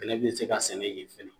Bɛnɛ bi se ka sɛnɛ ye fɛnɛ